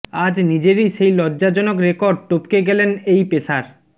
আজ নিজেরই সেই লজ্জাজনক রেকর্ড টপকে গেলেন এই পেসার